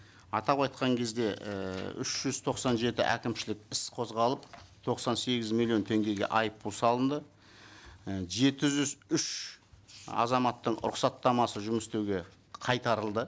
атап айтқан кезде ііі үш жүз тоқсан жеті әкімшілік іс қозғалып тоқсан сегіз миллион теңгеге айыппұл салынды і жеті жүз үш азаматтың рұқсаттамасы жұмыс істеуге қайтарылды